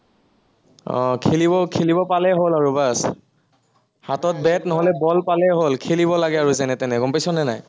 আহ খেলিব, খেলিব পালেই হল আৰু বচ হাতত বেট নহলে বল পালেই হল, খেলিব লাগে আৰু যেনে তেনে, গম পাইছনে নাই?